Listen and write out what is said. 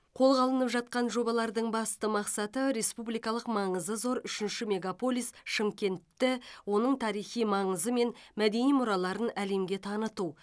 қолға алынып жатқан жобалардың басты мақсаты республикалық маңызы зор үшінші мегаполис шымкентті оның тарихи маңызы мен мәдени мұраларын әлемге таныту